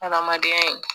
Hadamadenya